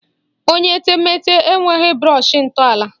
Onye etemeete enweghi brọshị ntọala